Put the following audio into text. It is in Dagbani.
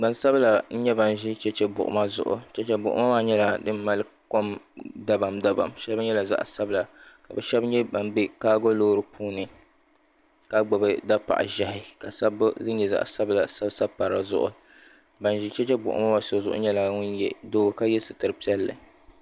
gbansabila n nyɛ ban ʒi chɛchɛ buɣuma zuɣu chɛchɛ buɣuma maa nyɛla din mali kom dabam dabam shɛli nyɛla zaɣ sabila ka bi shab nyɛ ban bɛ kaago loori puuni ka gbubi tapaɣa ʒiɛhi ka sabbu din nyɛ zaɣ sabila sabi sabi pa dizuɣu ban ʒɛ chɛchɛ buɣum ŋɔ so zuɣu so nyɛla ŋun nyɛ doo ka yɛ sitiri piɛlli